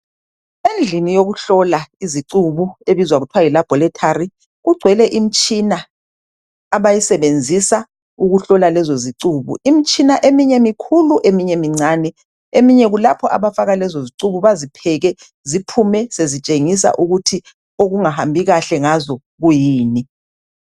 Endlini yokuhlola izicubu ebizwa kuthiwa yi laboratory kugcwele imtshina abayisebenzisa ukuhlola lezo zicubu. Imtshina eminye mikhulu eminye mincane eminye kulapho abafaka lezo zicubu bazipheke ziphume sezitshengisa ukuthi okungahambi kahle ngazo kuyini.